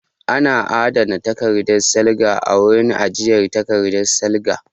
Ana adana takardan salga a wurin ajiye takardan salga